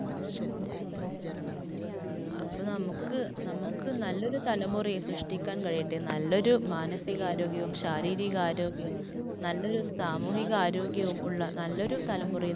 അപ്പോ നമുക്ക്, നമുക്ക് തലമുറയെ സൃഷ്ട്ടിക്കാൻ കഴിയട്ടെ. നല്ലൊരു മാനസിക ആരോഗ്യവും ശാരീരിക ആരോഗ്യവും, നല്ലൊരു സാമൂഹികാരോഗ്യവും ഉള്ള നല്ലൊരു തലമുറയെ